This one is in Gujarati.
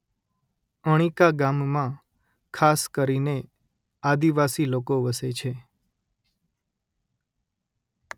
અણીકા ગામમાં ખાસ કરીને આદિવાસી લોકો વસે છે